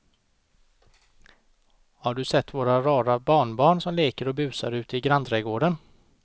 Har du sett våra rara barnbarn som leker och busar ute i grannträdgården!